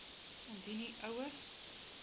indien u ouer